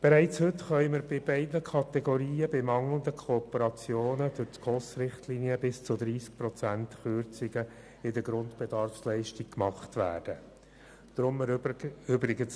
Bereits heute können bei beiden Kategorien bei mangelnder Kooperation die Grundbedarfsleistungen nach SKOS-Richtlinien bis zu 30 Prozent gekürzt werden.